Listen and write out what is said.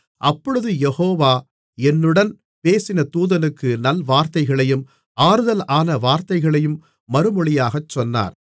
அப்பொழுது யெகோவா என்னுடன் பேசின தூதனுக்கு நல்வார்த்தைகளையும் ஆறுதலான வார்த்தைகளையும் மறுமொழியாகச் சொன்னார்